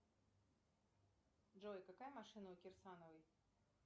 джой какая машина у кирсановой